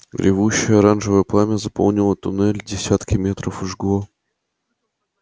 ревущее оранжевое пламя заполнило туннель десятки метров жгло